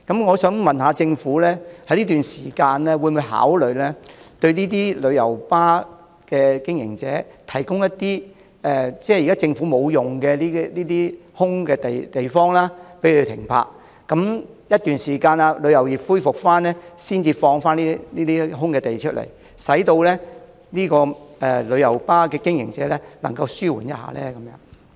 我想問政府，會否考慮在這段時間向旅遊巴經營者提供一些政府空置土地，讓他們停泊旅遊巴，當旅遊業恢復後，才收回這些空置土地，使旅遊巴經營者得到紓緩呢？